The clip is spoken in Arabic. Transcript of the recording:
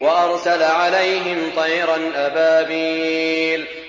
وَأَرْسَلَ عَلَيْهِمْ طَيْرًا أَبَابِيلَ